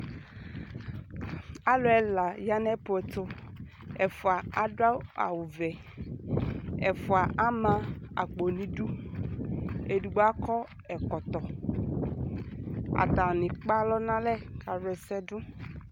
alo ɛla ya no aƒu ɛto ɛfoa ado awu vɛ ɛfoa ama akpo no idu edigbo akɔ ɛkɔtɔ atani ekpe alɔ no alɛ ka wla ɛsɛ do